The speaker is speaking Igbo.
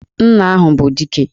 Nna ahụ bụ Dike!